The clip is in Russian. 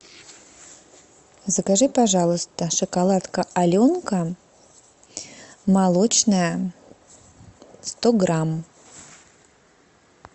закажи пожалуйста шоколадка аленка молочная сто грамм